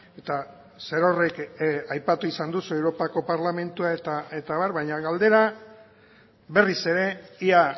eta zerorrek aipatu izan duzu europako parlamentua eta abar baina galdera berriz ere ea